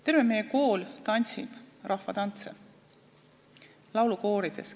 Terve meie kool tantsib rahvatantse, käib laulukoorides.